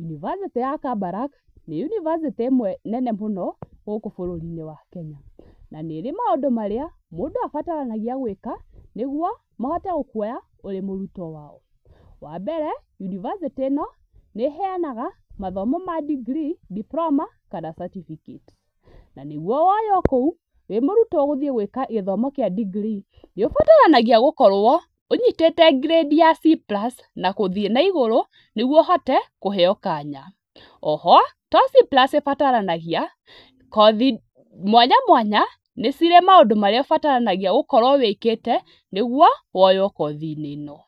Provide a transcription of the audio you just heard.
Yunibacĩtĩ ya Kabarak nĩ Yunibacĩtĩ ĩmwe nene mũno gũkũ bũrũri-inĩ wa Kenya na nĩ ĩrĩ maũndũ marĩa mũndũ abataranagia gũĩka nĩguo mahote gũkũoya ũrĩ mũrutwo wao. Wambere Yunibacĩtĩ ĩno nĩĩheanaga mathomo ma degree, diploma kana certificate na nĩguo woywo kũũ wĩ mũrũtwo gũthĩĩ gũĩka gĩthomo kĩa degree nĩũbataranagia gũkorwo ũnyitĩte grade ya C plus na gũthiĩ na igũrũ nĩgũo ũhote kũheyo kanya. O ho to C plus ĩbataranagia , kothi mwanya mwanya nĩ cĩri maũndũ marĩa ũbataranagia gũkorwo wĩkĩte nĩguo woywo kothi-inĩ ĩno.